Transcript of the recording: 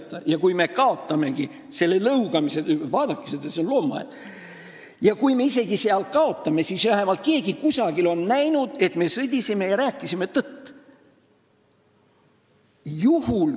Mõtlesime, et kui me isegi kaotame seal selle lõugamise – vaadake seda, see on loomaaed –, siis on vähemalt keegi kusagil näinud, et me sõdisime ja rääkisime tõtt.